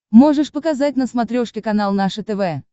можешь показать на смотрешке канал наше тв